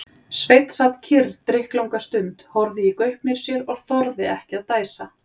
Sveinn sat kyrr drykklanga stund, horfði í gaupnir sér og þorði ekki að dæsa.